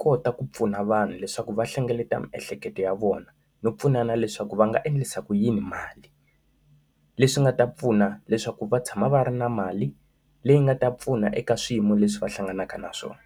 kota ku pfuna vanhu leswaku va hlengeleta miehleketo ya vona, no pfunana leswaku va nga endlisa ku yini mali. Leswi nga ta pfuna leswaku va tshama va ri na mali leyi nga ta pfuna eka swiyimo leswi va hlanganaka na swona.